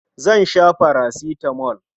Zan sha farasitamol.